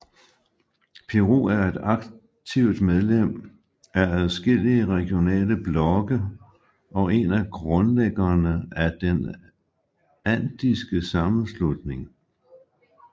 Peru er et aktivt medlem af adskillige regionale blokke og en af grundlæggerne af Den Andiske Sammenslutning